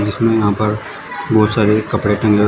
जिसमें यहां पर बहुत सारे कपड़े टगे हु--